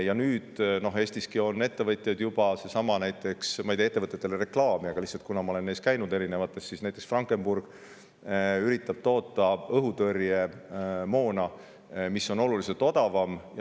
Ja nüüd Eestiski on juba ettevõtjaid – ma ei tee ettevõtetele reklaami, aga lihtsalt ma olen neis käinud –, näiteks Frankenburg, kes üritab toota õhutõrjemoona, mis on oluliselt odavam.